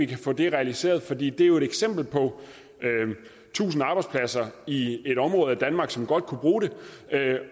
kan få det realiseret fordi det jo er et eksempel på tusind arbejdspladser i et område af danmark som godt kunne bruge dem